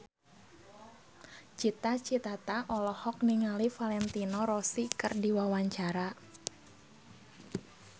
Cita Citata olohok ningali Valentino Rossi keur diwawancara